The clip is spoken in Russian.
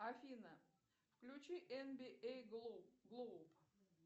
афина включи эн би эй глоуб